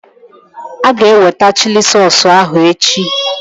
Aga eweta chili sausụ ahụ echi